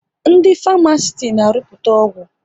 Ndị Farmasiti na arụputa ọgwụ